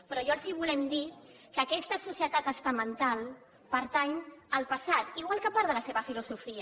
però nosaltres els volem dir que aquesta societat estamental pertany al passat igual que part de la seva filosofia